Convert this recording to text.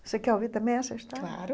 Você quer ouvir também essa história? Claro